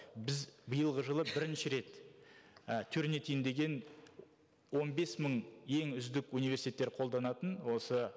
біз биылғы жылы бірінші рет і тёрнитин деген он бес мың ең үздік уинверситеттер қолданатын осы